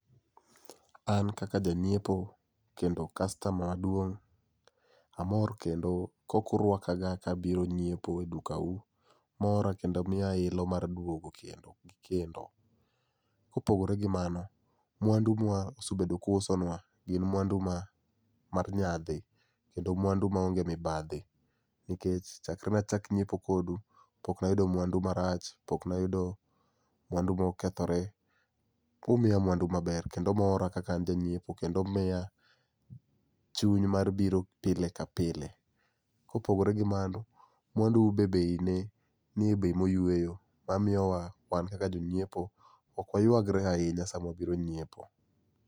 An kaka janyiepo kendo kastama maduong amor kendo kaka urwaka ga kabiro nyiepo e duka u mora kendo miya ilo mar duogo kendo kendo. Kopogore gi mano, mwandu ma usebedo ka uuso nwa gin mwandu mag nyadhi kendo mwandu maonge mibadhi nikech chakre nachak nyiepo kudu pok nayudo mwandu marach, pok nayudo mwandu mokethore. Umiya mwandu maber kendo moro kaka an janyiepo kendo miya chuny mar biro pile ka pile. Kopogore gi mano, mwandu u be bei ne nie bei moyweyo mamiyo wa wan kaka jonyiepo ok waywagre ahinya sama wabiro nyiepo